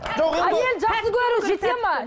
әйелін жақсы көру жете ме